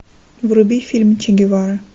вруби фильм чегевара